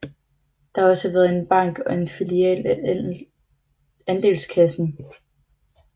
Der har også været en bank og en filial af Andelskassen